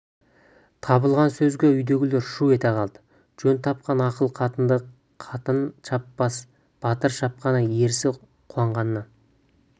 табылған сөзге үйдегілер шу ете қалды жөн тапқан ақыл қатынды қатын шаппаса батыр шапқаны ерсі қуанғаннан